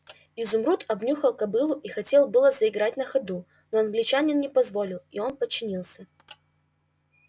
изумруд обнюхал кобылу и хотел было заиграть на ходу но англичанин не позволил и он подчинился